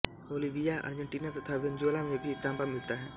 Bolivia Argentina तथा Venezuela में भी ताँबा मिलता है